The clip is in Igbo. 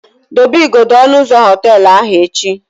Dobe igodo ọnụ ụzọ họteelụ ahụ echi!